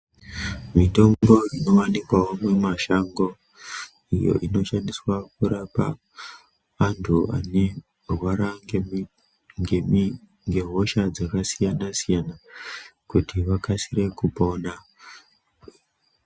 Mitombo inowanikwawo mumashango iyo inoshandiswa kurapa antu anorwara ngemi ngemi ngehosha dzakasiyana siyana kuti vakasire kupona.